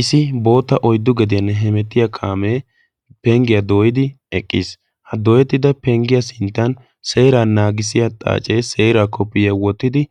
isi boota oiddu gediyane hemettiya kaamee penggiyaa dooyidi eqqiis ha dooyettida penggiyaa sinttan seeraa naagissiya xaacee seeraa koppiyaa wottidi